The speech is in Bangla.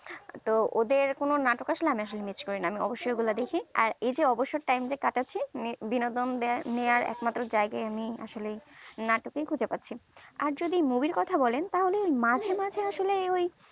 তো ওদের করো নাটক আসলে আমি miss করিনা আমি অবশই দেখি আর এইযে অবসর টাইম যে কাটাচ্ছি বিনোদন নিয়ার একমাত্রই জায়গায় আমি আসলে নাটকই খুঁজে পাচ্ছিনা আর যদি movie এর কথা বলেন তাহলে মাঝে মাঝে আসলে ওই